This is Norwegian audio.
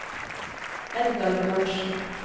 Edgar Bjørnsen